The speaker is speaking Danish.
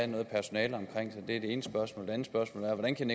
noget personale omkring sig det ene spørgsmål det andet spørgsmål er hvordan kan